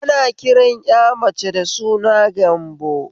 Ana kiran ƴa mace da suna Gambo